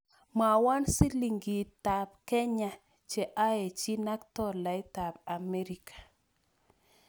Mwawon silingisyekab Kenya che aechinak tolaitap Amerika